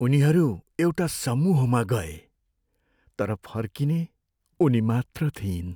उनीहरू एउटा समूहमा गए तर फर्किने उनीमात्र थिइन्।